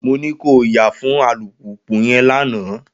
Mo ní ko yà fún alùpùpù yẹn lánàá!